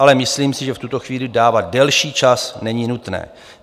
Ale myslím si, že v tuto chvíli dávat delší čas není nutné.